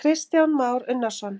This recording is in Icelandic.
Kristján Már Unnarsson: